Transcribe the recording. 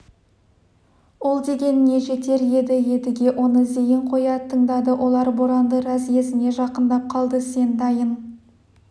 ол дегеніне жетер еді едіге оны зейін қоя тыңдады олар боранды разъезіне жақындап қалды сен дайын